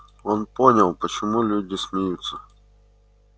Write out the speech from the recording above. он понял почему люди смеются